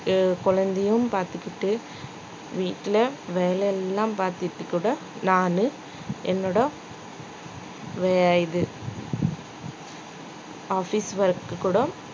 என் குழந்தையும் பார்த்துக்கிட்டு வீட்டுல வேலை எல்லாம் பார்த்துக்கிட்டு கூட நானு என்னோட வே~ இது office work கூட